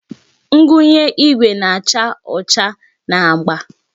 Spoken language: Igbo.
Ngwunye igwe na-acha ọcha na agba.